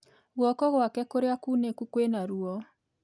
Guoko gwake kũrĩa kuunĩku kwĩna ruo